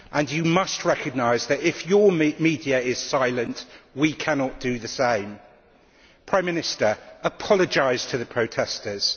You must recognise that if your media is silent, we cannot do the same. Prime Minister, apologise to the protestors.